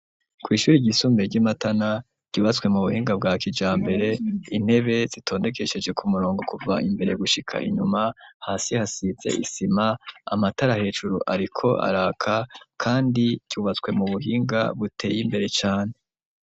Kw'ishuri ryisumbuye ry'imatana ryubatswe mu buhinga bwa kija mbere intebe zitondekesheje ku murongo kuva imbere gushika inyuma hasi hasitse isima amatara hejuru ariko araka kandi cyubatswe mu buhinga buteye imbere cane.